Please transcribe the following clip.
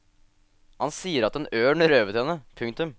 Han sier at en ørn røvet henne. punktum